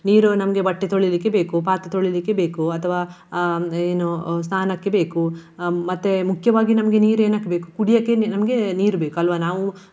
ನೀರು ನಮ್ಗೆ ಬಟ್ಟೆ ತೊಳಿಲಿಕೆ ಬೇಕು ಪಾತ್ರೆ ತೊಳಿಲಿಕೆ ಬೇಕು. ಅಥವಾ ಹ್ಮ್ ಏನು ಅಹ್ ಸ್ನಾನಕ್ಕೆ ಬೇಕು. ಹ್ಮ್ ಮತ್ತೆ ಮುಖ್ಯವಾಗಿ ನಮ್ಗೆ ನೀರು ಏನಕ್ಕೆ ಬೇಕು ಕುಡಿಯಕ್ಕೆ ನಿ~ ನಮ್ಗೆ ನೀರು ಬೇಕು ಅಲ್ವಾ ನಾವು